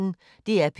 DR P1